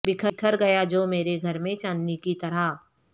بکھر گیا جو مرے گھر میں چاندنی کی طرح